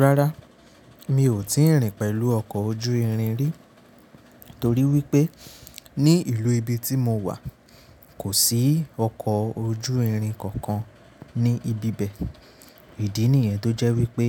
Rárá, mi ò tíì rìn pẹ̀lú ọkọ̀ ojú irin rí, torí wípé ní ìlú ibi tí mo wà kò sí ọkọ̀ ojú irin kankan ní ibi bẹ̀. Ìdí nìyẹn tó jẹ́ wípé